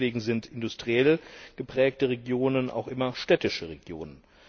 Deswegen sind industriell geprägte Regionen auch immer städtische Regionen.